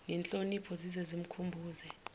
ngenhlonipho zize zimkhumbuze